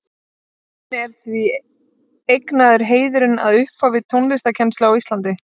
Jóni er því eignaður heiðurinn að upphafi tónlistarkennslu á Íslandi.